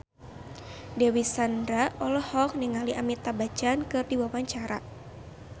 Dewi Sandra olohok ningali Amitabh Bachchan keur diwawancara